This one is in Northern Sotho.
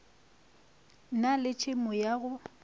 na le tšhemo ya go